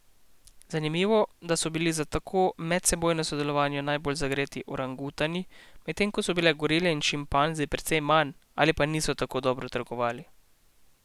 Zanimivo, da so bili za tako medsebojno sodelovanje najbolj zagreti orangutani, medtem ko so bile gorile in šimpanzi precej manj ali pa niso tako dobro trgovali.